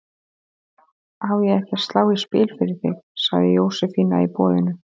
Á ég ekki að slá í spil fyrir þig? sagði Jósefína í boðinu.